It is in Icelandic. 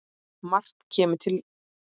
Margt kemur til.